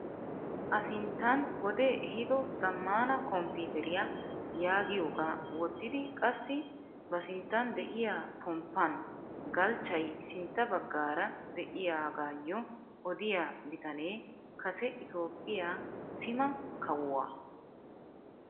A sinttan wodee ehiido zammaana kompiiteriyaa yaagiyogaa wottidi qassi ba sinttan de'iyaa pomppaan galchchay sintta baggaara de'iyaagayoo odiyaa bitanee kase itoophphiyaa sima kawuwaa.